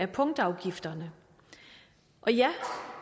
punktafgifterne og ja